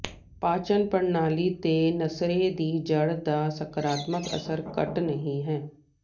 ਪਾਚਨ ਪ੍ਰਣਾਲੀ ਤੇ ਲਸਰੇ ਦੀ ਜੜ੍ਹ ਦਾ ਸਕਾਰਾਤਮਕ ਅਸਰ ਘੱਟ ਨਹੀਂ ਹੈ